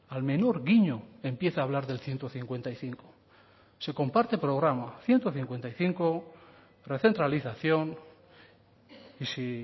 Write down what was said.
al menor guiño empieza a hablar del ciento cincuenta y cinco se comparte programa ciento cincuenta y cinco recentralización y si